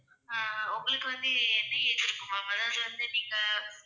ஆஹ் உங்களுக்கு வந்து என்ன age இருக்கும், ma'am அதாவது வந்து நீங்க